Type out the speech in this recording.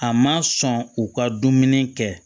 A ma sɔn u ka dumuni kɛ